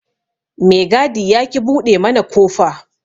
Me gadi yaƙi buɗe mana kofa.